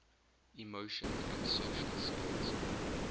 emotion and social skills